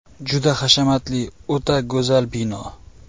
Juda hashamatli, o‘ta go‘zal bino.